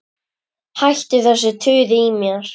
Hættu þessu tuði í mér.